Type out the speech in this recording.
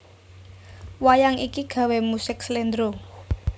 Wayang iki gawé musik Slendro